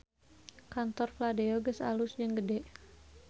Kantor Fladeo alus jeung gede